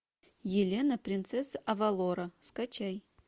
елена принцесса авалора скачай